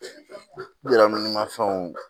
Mafɛnw